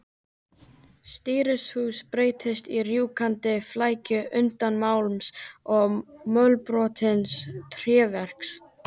Stýrishúsið breyttist í rjúkandi flækju undins málms og mölbrotins tréverks.